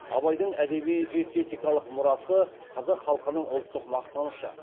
абайдың әдеби эстетикалық мұрасы қазақ халқының ұлттық мақтанышы